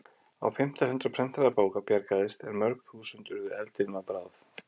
Á fimmta hundrað prentaðra bóka bjargaðist en mörg þúsund urðu eldinum að bráð.